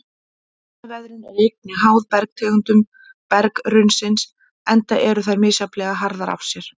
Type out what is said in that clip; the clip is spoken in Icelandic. Efnaveðrun er einnig háð bergtegundum berggrunnsins enda eru þær misjafnlega harðar af sér.